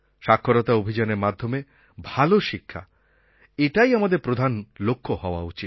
সাক্ষরতা অভিযানের মাধ্যমে ভালো শিক্ষা এটাই আমাদের প্রধান লক্ষ্য হওয়া উচিত